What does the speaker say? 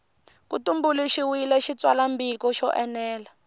ku tumbuluxiwile xitsalwambiko xo enela